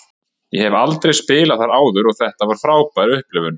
Ég hef aldrei spilað þar áður og þetta var frábær upplifun.